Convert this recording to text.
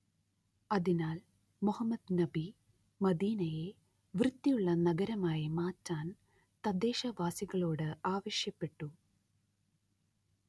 അതിനാൽ മുഹമ്മദ്‌ നബി മദീനയെ വൃത്തിയുള്ള നഗരമാക്കി മാറ്റാൻ തദ്ദേശവാസികളോട് ആവശ്യപ്പെട്ടു